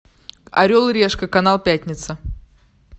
орел и решка канал пятница